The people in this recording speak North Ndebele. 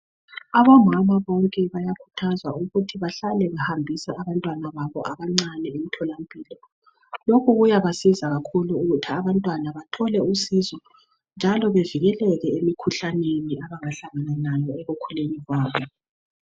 Abomama bonke bayakhuthazwa ukuthi bahlale behambisa abantwana babo abancane emthola mpilo. Lokhu kuyabasiza kakhulu ukuthi abantwana bathole usizo njalo bevikeleke emikhuhlaneni abangahlangana layo ekukhuleni kwabo.